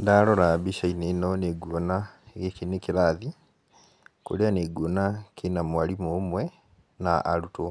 Ndarora mbica-inĩ ĩno nĩ nguona gĩkĩ nĩ kĩrathi kũrĩa nĩ nguona kĩna mwarimũ ũmwe na arutwo.